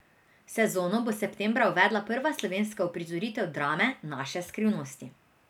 Sezono bo septembra uvedla prva slovenska uprizoritev drame Naše skrivnosti.